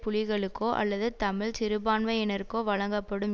புலிகளுக்கோ அல்லது தமிழ் சிறுபான்மையினருக்கோ வழங்கப்படும்